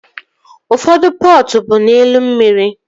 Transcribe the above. Ụfọdụ pọtụ bụ n'elu mmiri